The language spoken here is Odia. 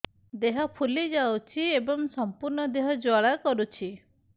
ଦେହ ଫୁଲି ଯାଉଛି ଏବଂ ସମ୍ପୂର୍ଣ୍ଣ ଦେହ ଜ୍ୱାଳା କରୁଛି